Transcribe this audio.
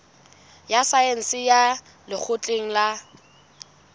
ya saense ya lekgotleng la